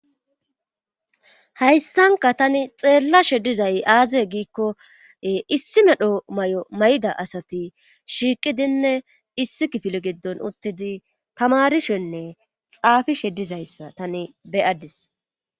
hayssanka tani xeellashe dizay aazae giikko issi medho may7o may7da asati shiiqidinne issi kifili giddon uttidi tamarishenne xaafishe dizayssa tani beyadis